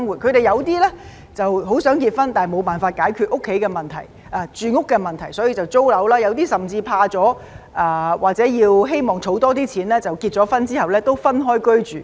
他們有些很想結婚，但無法解決住屋的問題，於是便要租樓，有些人甚至被嚇怕，又或希望多儲蓄而在婚後亦要分開居住。